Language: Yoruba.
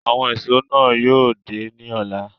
Awọn éṣo náa yóò de ni ọla